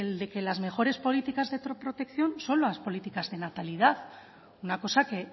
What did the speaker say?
de que las mejores políticas de protección son las políticas de natalidad una cosa que